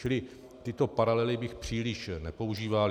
Čili tyto paralely bych příliš nepoužíval.